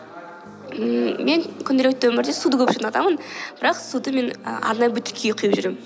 ммм мен күнделікті өмірде суды көп іштін адаммын бірақ суды мен арнайы бөтелкеге құйып жүремін